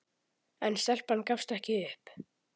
En stelpan gafst ekki upp.